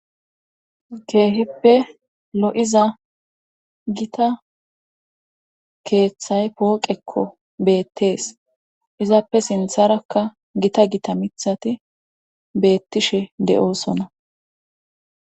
Keehippe lo'iza gita keeththay pooqekko beettees izaappe sintharakka gita gita mithati beettishe de'osona